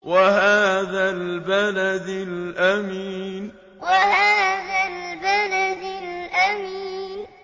وَهَٰذَا الْبَلَدِ الْأَمِينِ وَهَٰذَا الْبَلَدِ الْأَمِينِ